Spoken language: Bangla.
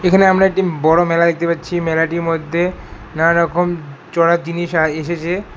এখানে আমরা একটি বড় মেলা দেখতে পাচ্ছি মেলাটির মদ্যে নানা রকম চড়ার জিনিস আয় এসেচে।